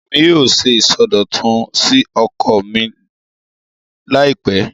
Èmi yóò ṣe ìsọdọ̀tun sí oko mi láìpẹ́